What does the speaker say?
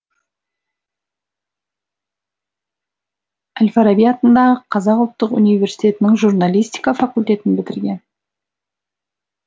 әл фараби атындағы қазақ ұлттық университетінің журналистика факультетін бітірген